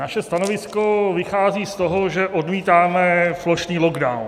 Naše stanovisko vychází z toho, že odmítáme plošný lockdown.